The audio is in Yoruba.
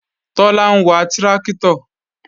Tọ́lá ń wa tráktọ̀